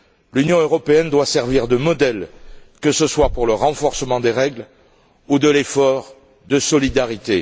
L'Union européenne doit servir de modèle, que ce soit pour le renforcement des règles ou l'effort de solidarité.